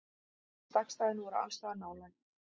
Stakkstæðin voru allsstaðar nálæg.